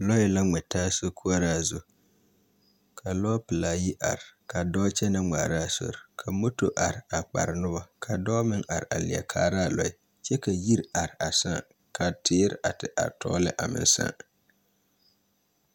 Lɔɛ la ŋmɛ taa sokoɔra zu. Ka lɔɔ pelaa yi are, ka dɔɔ kyɛnɛ ŋmaara a sori ka moto are a kpare noba ka dɔɔ meŋ are a leɛ kaara a lɔɛ. kyɛ ka yiri are a sãã ka teere a te are toore lɛ a meŋ sãã.